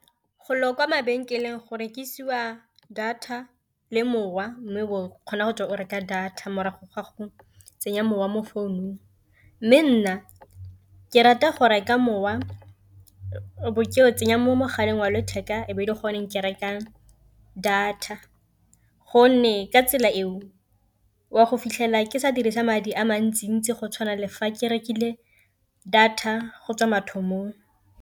Golo kwa mabenkeleng gore ke isiwa data le mowa, mme o kgona go tswa o reka data morago ga go tsenya mowa mo founung. Mme nna ke rata go reka mowa o bo ke o tsenya mo mogaleng wa letheka e be e le gone ke rekang data, gonne ka tsela eo o a go fitlhela ke sa dirisa madi a mantsi-ntsi go tshwana lefa ke rekile data go tswa mathomong.